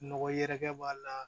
Nɔgɔ yɛrɛkɛ b'a la